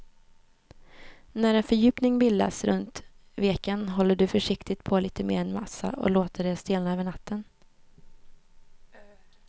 När en fördjupning bildats runt veken häller du försiktigt på lite mer massa och låter det stelna över natten.